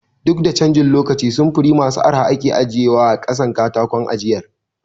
Duk da canjin lokaci samfuri masu arha ake ajiye wa a ƙasan katakon ajiyar